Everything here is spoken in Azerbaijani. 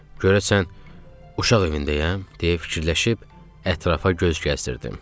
Görəsən uşaq evindəyəm, deyə fikirləşib ətrafa göz gəzdirdim.